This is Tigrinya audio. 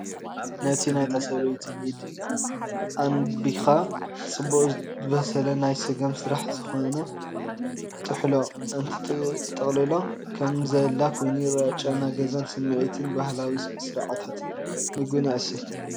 ነቲ ናይታ ሰበይቲ ኢድ ኣንቢብካ ጽቡቕ ዝበሰለ ናይ ስገም ስራሕ ዝኾነ ጥሕሎ እንትትጥቕልሎ ከም ዘላ ኮይኑ ይረአ፤ ጨና ገዛን ስምዒት ባህላዊ ስርዓታት ምግብን የለዓዕል።